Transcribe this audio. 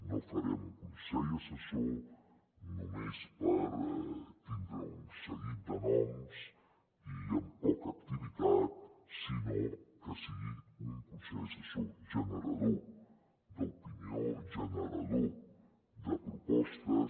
no farem un consell assessor només per tindre un seguit de noms i amb poca activitat sinó que sigui un consell assessor generador d’opinió generador de propostes